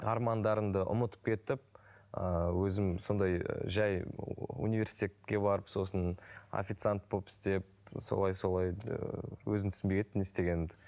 армандарымды ұмытып кетіп ыыы өзім сондай жай университетке барып сосын официант болып істеп солай солай ыыы өзім түсінбей кеттім не істегенімді